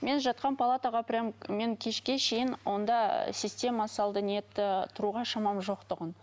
мен жатқан палатаға прям мен кешке шейін онда ы система салды нетті тұруға шамам жоқ тұғын